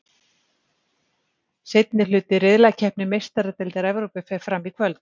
Seinni hluti riðlakeppni Meistaradeildar Evrópu fer fram í kvöld.